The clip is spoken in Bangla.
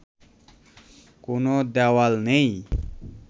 কোনো দেয়াল নেই